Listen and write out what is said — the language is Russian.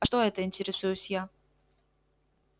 а что это интересуюсь я